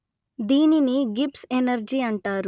దీనిని Gibbs energy అంటారు